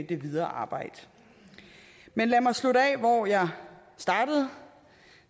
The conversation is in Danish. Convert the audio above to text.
det videre arbejde men lad mig slutte hvor jeg startede